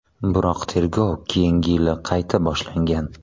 Biroq tergov keyingi yili qayta boshlangan.